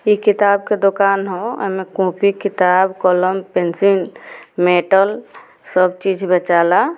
इ किताब के दुकान है उ मे कॉपी किताब कलम पेंसिल मेटल सब चीज बेचाला ।